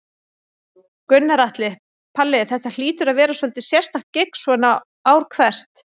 Gunnar Atli: Palli, þetta hlýtur að vera svolítið sérstakt gigg svona ár hvert?